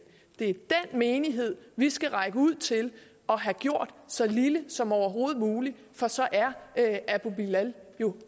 det er menighed vi skal række ud til og have gjort så lille som overhovedet muligt for så er abu bilal jo